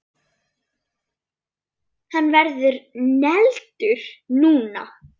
Hann verður negldur núna!